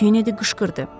Kenedi qışqırdı.